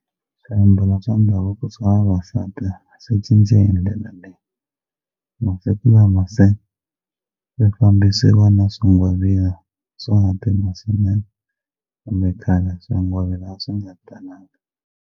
Swiambalo swa ndhavuko swa vavasati swi cincile le na le masiku lama se ku fakisiwa na swingwavila swona kambe khale swingwavila a swi nga talangi.